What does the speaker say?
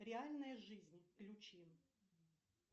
реальная жизнь включи